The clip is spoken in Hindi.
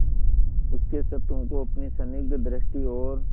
उसके क्षतों को अपनी स्निग्ध दृष्टि और